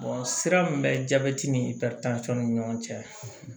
sira min bɛ jabɛti ni ni ɲɔgɔn cɛ